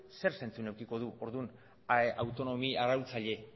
zer zentzu edukiko du orduan autonomia arautzaile